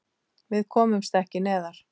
Við komumst ekki neðar.